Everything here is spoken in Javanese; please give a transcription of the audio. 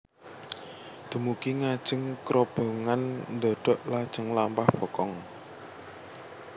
Dumugi ngajeng krobongan ndhodhok lajeng lampah bokong